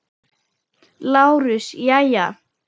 LÁRUS: Jæja!